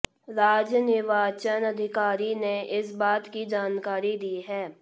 राज्य निर्वाचन अधिकारी ने इस बात की जानकारी दी है